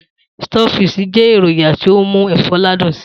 Stockfish jẹ́ èròjà to mú ẹ̀fọ́ ládùn si.